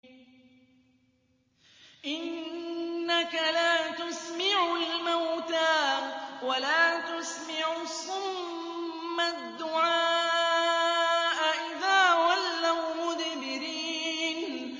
إِنَّكَ لَا تُسْمِعُ الْمَوْتَىٰ وَلَا تُسْمِعُ الصُّمَّ الدُّعَاءَ إِذَا وَلَّوْا مُدْبِرِينَ